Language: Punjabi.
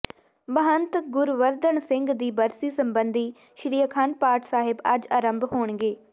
ਮਹੰਤ ਗੁਵਰਧਨ ਸਿੰਘ ਦੀ ਬਰਸੀ ਸਬੰਧੀ ਸ੍ਰੀ ਅਖੰਡ ਪਾਠ ਸਾਹਿਬ ਅੱਜ ਆਰੰਭ ਹੋਣਗੇ